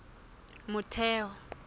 motheo